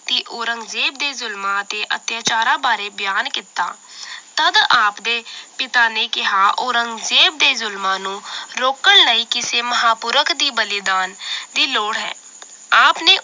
ਤੇ ਔਰੰਜਜ਼ੇਬ ਦੇ ਜ਼ੁਲਮਾਂ ਅਤੇ ਅਤਿਆਚਾਰਾਂ ਬਾਰੇ ਬਿਆਨ ਕੀਤਾ ਤਦ ਆਪਦੇ ਪਿਤਾ ਨੇ ਕਿਹਾ ਔਰੰਗਜ਼ੇਬ ਦੇ ਜ਼ੁਲਮਾਂ ਨੂੰ ਰੋਕਣ ਲਈ ਕਿਸੇ ਮਹਾਪੁਰਖ ਦੀ ਬਲੀਦਾਨ ਦੀ ਲੋੜ ਹੈ l ਆਪ ਨੇ